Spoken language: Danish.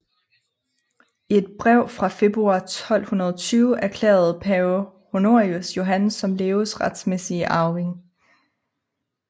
I et brev fra februar 1220 erklærede pave Honorius Johan som Leos retmæssige arving